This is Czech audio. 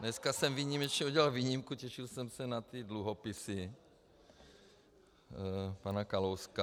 Dneska jsem výjimečně udělal výjimku, těšil jsem se na ty dluhopisy pana Kalouska.